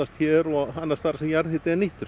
hér og annars staðar þar sem jarðhiti er nýttur